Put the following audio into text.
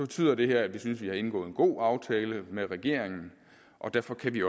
betyder det her at vi synes vi har indgået en god aftale med regeringen og derfor kan vi